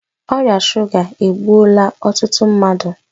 Ọrịa shuga egbuola ọtụtụ mmadụ